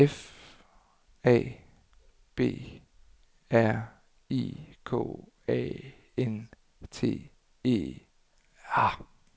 F A B R I K A N T E R